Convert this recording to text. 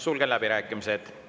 Sulgen läbirääkimised.